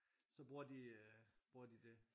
Så bruger de øh bruger de det